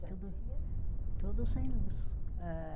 Já tinha? Tudo, tudo sem luz. Eh